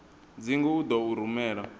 dzingu u ḓo u rumela